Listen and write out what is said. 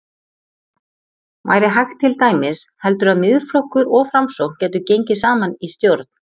Væri hægt til dæmis, heldurðu að Miðflokkur og Framsókn gætu gengið saman í stjórn?